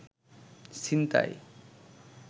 ছিনতাই